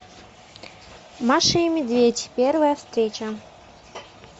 маша и медведь первая встреча